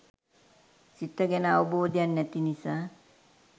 සිත ගැන අවබෝධයක් නැති නිසා